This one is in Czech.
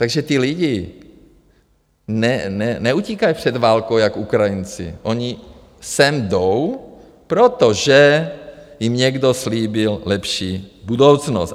Takže ti lidi neutíkají před válkou jak Ukrajinci, oni sem jdou, protože jim někdo slíbil lepší budoucnost.